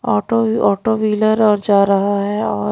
auto auto wheeler और जा रहा है और--